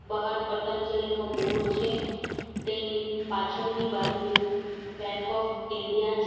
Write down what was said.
બહાર પતંજલિનો બોર્ડ છે તેની પાછળની બાજુએ બેંક ઓફ ઇન્ડિયા છે.